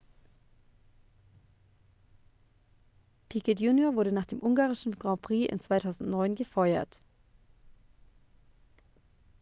piquet jr wurde nach dem ungarischen grand prix in 2009 gefeuert